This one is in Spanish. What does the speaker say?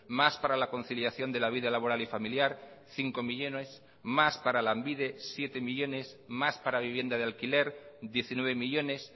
más para la conciliación de la vida laboral y familiar cinco millónes más para lanbide siete millónes más para vivienda de alquiler diecinueve millónes